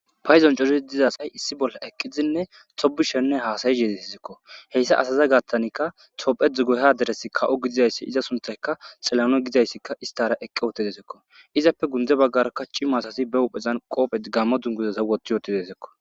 payzon curizi dizasay issi bolla eqqizinne tobi shenne haasayi heetetizekko heyssa asaza gattanikka tophe dzu goha deresi ka7o gidizayssi iza suntayka xelawuney gidayssikka istara eqqe ote dezekko izappe gundze baggarakka cima asasi be uphezan qoophet gamma dunguzeza wotti yooti dezekko